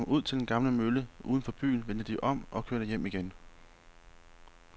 Da de var kommet ud til den gamle mølle uden for byen, vendte de om og kørte hjem igen.